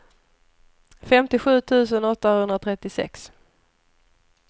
femtiosju tusen åttahundratrettiosex